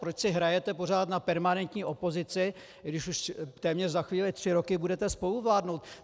Proč si hrajete pořád na permanentní opozici, když už téměř za chvíli tři roky budete spoluvládnout?